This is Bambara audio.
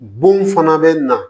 Bon fana bɛ na